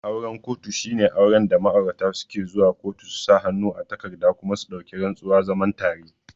Auren kotu shine wanda ma'aurata suke zuwa kotu su sa hannu a takarda kuma su dauki rantsuwa zaman tare